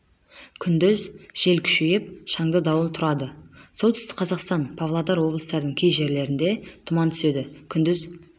күндіз жел күшейіп шаңды дауыл тұрады солтүстік қазақстан павлодар облыстарының кей жерлерінде тұман түседі күндіз